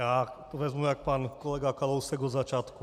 Já to vezmu jak pan kolega Kalousek od začátku.